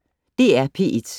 DR P1